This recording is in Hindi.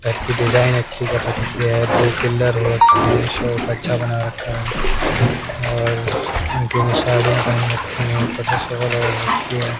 घर की डिजाइन अच्छी कर रखी है ब्लू पिलर हो रखा है शॉप अच्छा बना रखा है और सु आंटियों ने साड़ियां पहन रखी हैं ऊपर से शॉल ओढ़ रखी है।